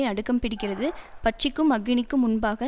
நடுக்கம் பிடிக்கிறது பட்சிக்கும் அக்கினிக்கும் முன்பாக